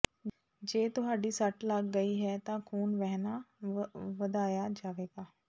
ਜੇ ਤੁਹਾਡੀ ਸੱਟ ਲੱਗ ਗਈ ਹੈ ਤਾਂ ਖੂਨ ਵਹਿਣਾ ਵਧਾਇਆ ਜਾਵੇਗਾ